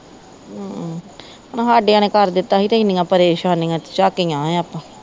ਆਹੋ ਹੁਣ ਹਾਦਿਆ ਨੇ ਕਰ ਦਿੱਤਾ ਹੀ ਤੇ ਇੰਨੀਆਂ ਪ੍ਰੇਸ਼ਾਨੀਆਂ ਚਾਕੀਆ ਆ ਆਪਾ